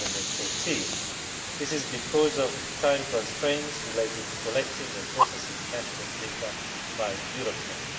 2014. This is because of time constraints related to collecting and processing national data by Eurostat.